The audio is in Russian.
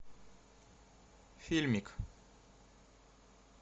фильмик